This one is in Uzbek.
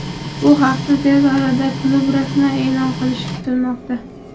Bu haqda tez orada klub rasman e’lon qilishi kutilmoqda.